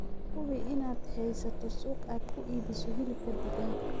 Hubi inaad haysato suuq aad ku iibiso hilibka digaaga.